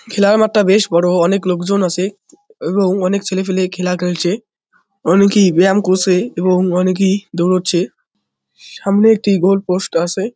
খেলার মাঠটা বেশ বড়ো অনেক লোকজন আছে এবং অনেক ছেলেপেলে খেলা করছে অনেকেই ব্যায়াম করছে এবং অনেকেই দৌড়োচ্ছে সামনে একটি গোলপোস্ট আছে।